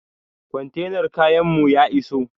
Kwantenar kayan mu ya iso